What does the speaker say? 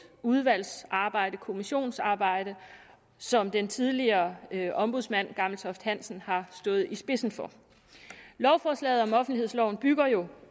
udvalgsarbejde kommissionsarbejde som den tidligere ombudsmand gammeltoft hansen har stået i spidsen for lovforslaget om offentlighedsloven bygger jo